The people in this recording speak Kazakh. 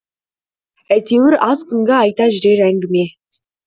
әйтеуір аз күнгі айта жүрер әңгіме